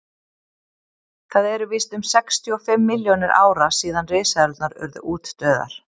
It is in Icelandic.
það eru víst um sextíu og fimm milljónir ára síðan risaeðlurnar urðu útdauðar